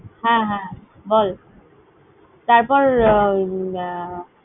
হ্যাঁ, হ্যাঁ, বল তারপর